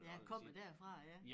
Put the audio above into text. Ja kommer derfra ja